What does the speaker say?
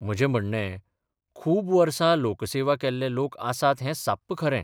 म्हर्जे म्हणणेंः खूब बर्सा लोकसेवा केल्ले लोक आसात हें साप्प खरें.